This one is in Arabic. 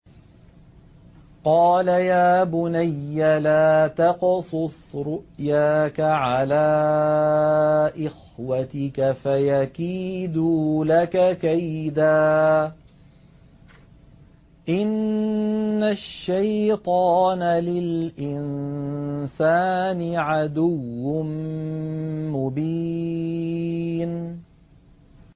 قَالَ يَا بُنَيَّ لَا تَقْصُصْ رُؤْيَاكَ عَلَىٰ إِخْوَتِكَ فَيَكِيدُوا لَكَ كَيْدًا ۖ إِنَّ الشَّيْطَانَ لِلْإِنسَانِ عَدُوٌّ مُّبِينٌ